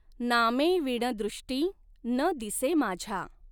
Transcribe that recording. नामॆंविण दृष्टीं न दिसॆ माझ्या.